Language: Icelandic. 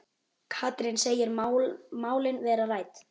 Katrín segir málin verða rædd.